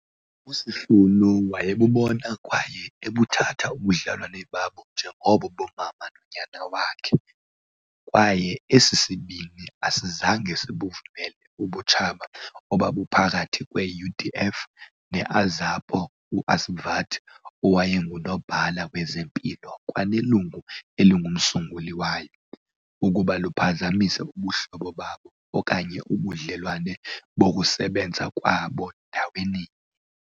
USisulu wayebubona kwaye ebuthatha ubudlelwane babo njengobo bomama nonyana wakhe, kwaye esi sibini asizange sibuvumele ubutshaba obabuphakathi kwe-UDF ne-Azapo uAsvat owayenguNobhala Wezempilo kwanelungu elingumsunguli wayo, ukuba luphazamise ubuhlobo babo okanye ubudlelwane bokusebenza kwabo ndaweninye.